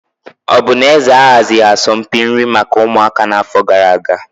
Ọ bụ na eze ahazighị asọmpi nri maka ụmụaka n'afọ gara aga?